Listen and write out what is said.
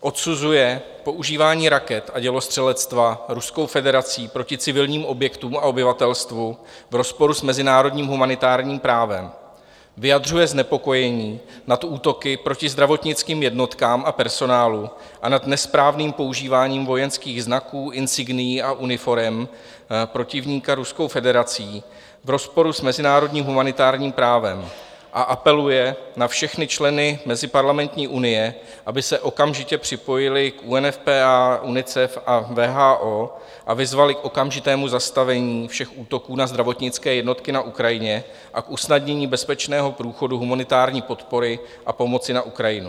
odsuzuje používání raket a dělostřelectva Ruskou federací proti civilním objektům a obyvatelstvu v rozporu s mezinárodním humanitárním právem; vyjadřuje znepokojení nad útoky proti zdravotnickým jednotkám a personálu a nad nesprávným používáním vojenských znaků, insignií a uniforem protivníka Ruskou federací v rozporu s mezinárodním humanitárním právem a apeluje na všechny členy Meziparlamentní unie, aby se okamžitě připojili k UNFPA, UNICEF a WHO a vyzvali k okamžitému zastavení všech útoků na zdravotnické jednotky na Ukrajině a k usnadnění bezpečného průchodu humanitární podpory a pomoci na Ukrajinu;